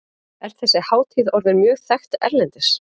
Er þessi hátíð orðin mjög þekkt erlendis?